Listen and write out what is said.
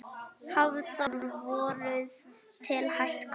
Hafþór: Voruð þið hætt komnir?